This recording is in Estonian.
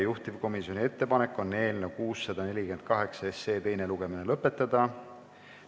Juhtivkomisjoni ettepanek on eelnõu 648 teine lugemine lõpetada.